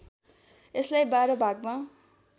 यसलाई १२ भागमा